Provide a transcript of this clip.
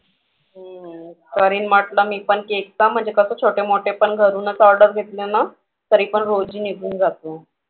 हं करीन म्हंटलं मी पण cake चा म्हणजे कसं छोटे मोठे पण घरूनच order घेतले ना तरीपण रोजी निघून जातो.